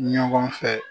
Ɲɔgɔn fɛ